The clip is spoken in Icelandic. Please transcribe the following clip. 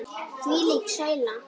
Þvílík sæla.